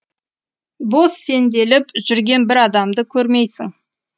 бос сенделіп жүрген бір адамды көрмейсің